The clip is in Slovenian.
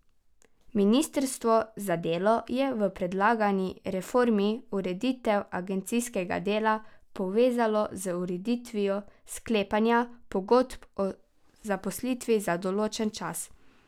Ministrstvo za delo je v predlagani reformi ureditev agencijskega dela povezalo z ureditvijo sklepanja pogodb o zaposlitvi za določen čas.